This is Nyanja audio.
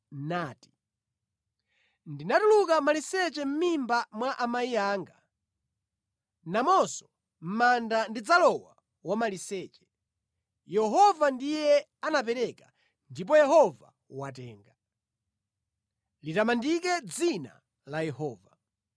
nati, “Ndinatuluka maliseche mʼmimba mwa amayi anga, namonso mʼmanda ndidzalowa wamaliseche. Yehova ndiye anapereka ndipo Yehova watenga; litamandike dzina la Yehova.”